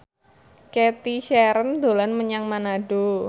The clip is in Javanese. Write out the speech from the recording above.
Cathy Sharon dolan menyang Manado